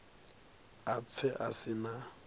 a pfe a si na